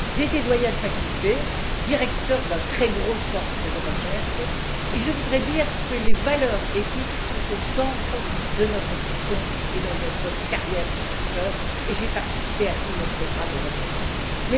Ayant été doyenne de faculté et directrice d'un très gros centre de recherche, je voudrais dire que les valeurs éthiques sont au centre de notre fonction et de notre carrière de chercheur j'ai participé à tous les programmes européens en la matière.